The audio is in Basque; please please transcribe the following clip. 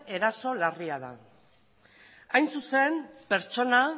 eraso larria da hain zuzen pertsona